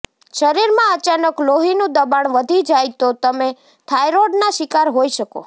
શરીરમાં અચાનક લોહીનું દબાણ વધી જાય તો તમે થાઈરોઈડના શિકાર હોઈ શકો